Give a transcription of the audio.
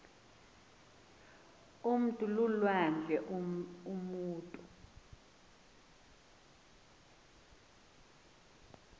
umntu lulwandle umutu